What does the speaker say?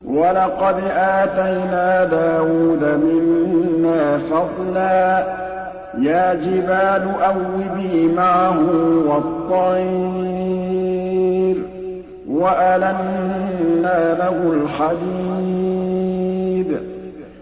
۞ وَلَقَدْ آتَيْنَا دَاوُودَ مِنَّا فَضْلًا ۖ يَا جِبَالُ أَوِّبِي مَعَهُ وَالطَّيْرَ ۖ وَأَلَنَّا لَهُ الْحَدِيدَ